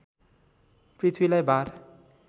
पृथ्वीलाई भार